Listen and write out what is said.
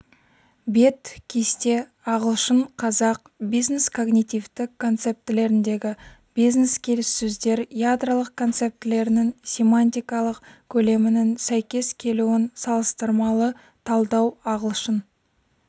бет кесте ағылшын-қазақ бизнес-когнитивтік концептілеріндегі бизнес-келіссөздер ядролық концептілерінің семантикалық көлемінің сәйкес келуін салыстырмалы талдау ағылшын